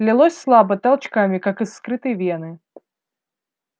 лилось слабо толчками как из вскрытой вены